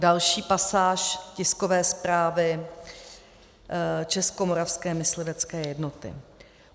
Další pasáž tiskové zprávy Českomoravské myslivecké jednoty.